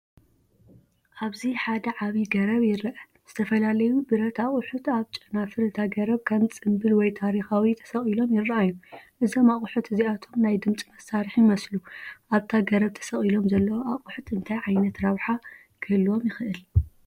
ኣብዚ ሓደ ዓቢ ገረብ ይርአ። ዝተፈላለዩ ብረት ኣቑሑት ኣብ ጨናፍር እታ ገረብ ከም ጽምብል ወይ ታሪኻዊ ተሰቒሎም ይረኣዩ። እዞም ኣቑሑት እዚኣቶም ናይ ድምጺ መሳርሒ ይመስሉ። ኣብታ ገረብ ተሰቒሎም ዘለዉ ኣቑሑት እንታይ ዓይነት ረብሓ ክህልዎም ይኽእል?